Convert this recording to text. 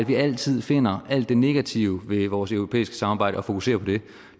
vi altid finder alt det negative ved vores europæiske samarbejde og fokuserer på det